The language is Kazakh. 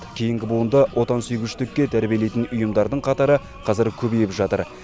кейінгі буынды отансүйгіштікке тәрбиелейтін ұйымдардың қатары қазір көбейіп жатыр